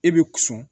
E be sɔn